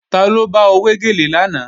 Taló bá ọ wé gèlè lánàá